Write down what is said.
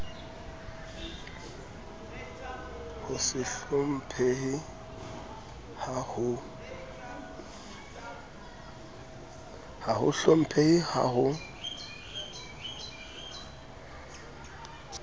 ho se hlomphehe ha ho